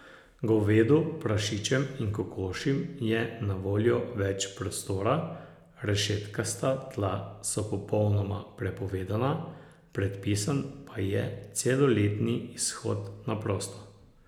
Govedu, prašičem in kokošim je na voljo več prostora, rešetkasta tla so popolnoma prepovedana, predpisan pa je celoletni izhod na prosto.